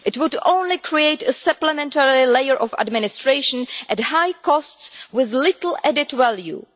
It would only create a supplementary layer of administration at high cost with little added value.